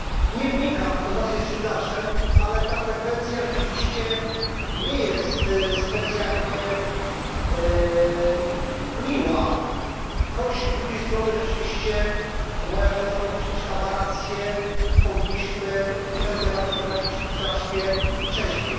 Nie wnikam, kto z nas jest Judaszem, ale ta frekwencja rzeczywiście nie jest specjalnie miła, choć z drugiej strony rzeczywiście moja szacowna poprzedniczka ma rację powinniśmy tę debatę przeprowadzić znacznie wcześniej.